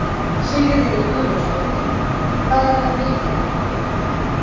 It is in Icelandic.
Sigríður Guðlaugsdóttir: Hvað er það mikið?